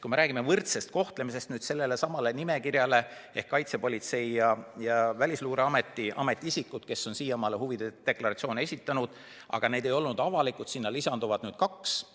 Kui me räägime võrdsest kohtlemisest, siis sellelesamale nimekirjale ehk Kaitsepolitseiameti ja Välisluureameti ametiisikutele, kes on seni huvide deklaratsioone esitanud, aga need ei ole olnud avalikud, lisandub nüüd veel kaks isikut.